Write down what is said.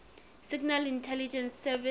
signal intelligence service